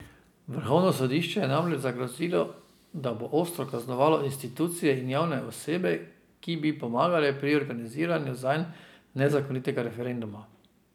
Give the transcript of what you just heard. Vrhovno sodišče je namreč zagrozilo, da bo ostro kaznovalo institucije in javne osebe, ki bi pomagale pri organiziranju zanj nezakonitega referenduma.